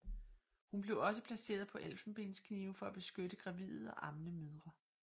Hun blev også placeret på elfenbensknive for at beskytte gravide og ammende mødre